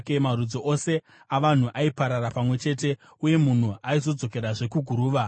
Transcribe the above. marudzi ose avanhu aiparara pamwe chete, uye munhu aizodzokerazve kuguruva.